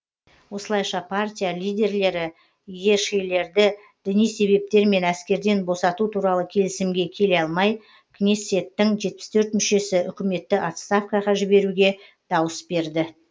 осылайша партия лидерлері йешилерді діни себептермен әскерден босату туралы келісімге келе алмай кнессеттің жетпіс төрт мүшесі үкіметті отставкаға жіберуге дауыс берді